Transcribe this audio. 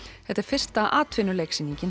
þetta er fyrsta